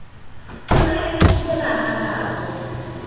o ne a itulela hahabo